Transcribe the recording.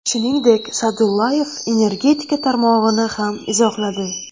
Shuningdek, Sa’dullayev energetika tarmog‘ini ham izohladi.